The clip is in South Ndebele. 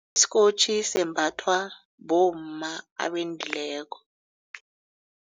Isikotjhi sembathwa bomma abendileko.